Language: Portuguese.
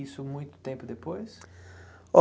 Isso muito tempo depois?